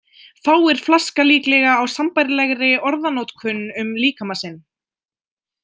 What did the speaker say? Fáir flaska líklega á sambærilegri orðanotkun um líkama sinn.